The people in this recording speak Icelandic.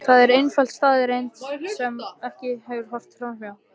Það er einföld staðreynd sem ekki verður horft fram hjá.